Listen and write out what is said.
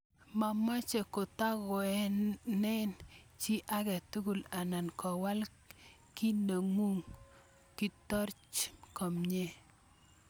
Momoche kotangoenen chi age tugul anan Kowal kainengung, kitoroch kamenyi